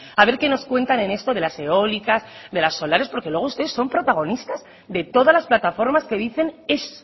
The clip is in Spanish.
a ver qué nos cuentan en esto de las eólicas de las solares porque luego ustedes son protagonistas de todas las plataformas que dicen ez